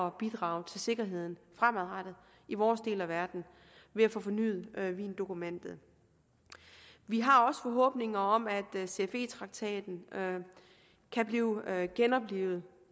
at bidrage til sikkerheden fremadrettet i vores del af verden ved at få fornyet wiendokumentet vi har også forhåbninger om at cfe traktaten kan blive genoplivet